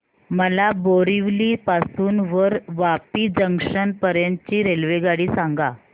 मला बोरिवली पासून तर वापी जंक्शन पर्यंत ची रेल्वेगाडी सांगा